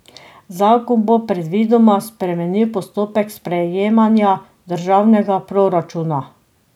Zakon bo predvidoma spremenil postopek sprejemanja državnega proračuna.